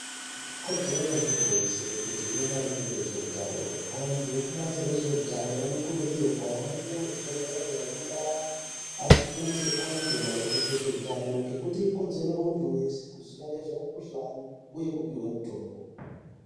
Ikodzero yemuntu wese kuziye maringe ngeutano. Antu ekubazi rezveutano ,anokurudzirwa kuhambe muzvibhedhlere nemundaa, achifundise antu maringe ngezveutano ngekuti, ikodzero yemuntu wese kuziya zvemukhuhlani uye kupihwe mitombo.